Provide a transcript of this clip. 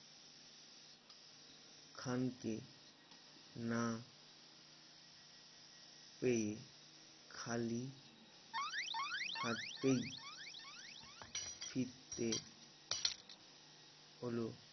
খান কে না পেয়ে খালি হাততে ছিটে হলো